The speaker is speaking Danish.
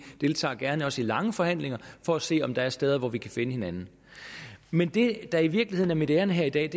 deltager gerne også i lange forhandlinger for at se om der er steder hvor vi kan finde hinanden men det der i virkeligheden er mit ærinde her i dag